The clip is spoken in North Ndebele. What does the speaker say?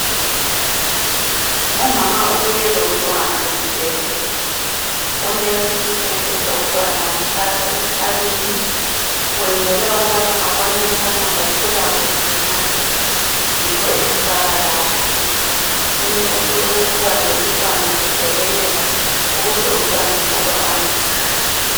Umama ubuye lomntwana esibhedlela, umongikazi usethethe umntwana wamfaka esikalini wenzela ukubana abone ukuthi ukhula kuhle na yikho emfaka lapha. Umongikazi ubambe umntwana ehlekelela ukuze umntwana njalo angakhali.